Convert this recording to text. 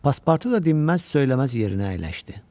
Paspartu da dinməz-söyləməz yerinə əyləşdi.